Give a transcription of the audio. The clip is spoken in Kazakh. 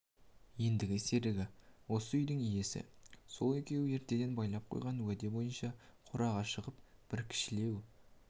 ендігі серігі осы үйдің иесі сол екеуі ертеден байлап қойған уәде бойынша қораға шығып бір кішілеу